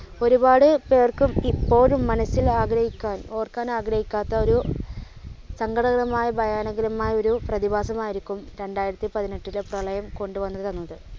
ഒരുപാട് പേർക്ക് ഇപ്പോഴും മനസ്സിൽ ആഗ്രഹിക്കാൻ ഓർക്കാൻ ആഗ്രഹിക്കാത്ത ഒരു സങ്കടകരമായ ഭയാനകരമായ ഒരു പ്രതിഭാസം ആയിരിക്കും രണ്ടായിരത്തിപ്പതിനെട്ടിലെ പ്രളയം കൊണ്ടുവന്ന് തന്നത്. .